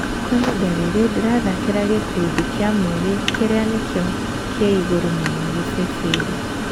Kwa ihinda rĩrĩ, ndĩrathakĩra gĩkundĩ kĩa Mũgĩ kĩrĩa nĩkĩo kĩigũrũ mũno Kĩpĩpĩrĩ.